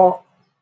Ọ